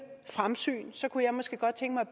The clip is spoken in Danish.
fremsyn kunne jeg måske godt tænke mig